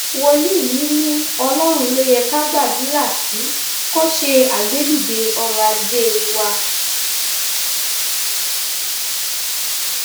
wòlíì yìí ni ọlọrun ló yẹ ká gbàdúrà sí kó ṣe agbẹdìde ọrọ ajé wa